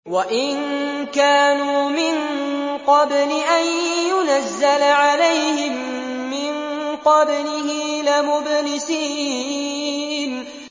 وَإِن كَانُوا مِن قَبْلِ أَن يُنَزَّلَ عَلَيْهِم مِّن قَبْلِهِ لَمُبْلِسِينَ